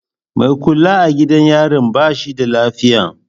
Mai kula a gidan yarin ba shi da lafiya.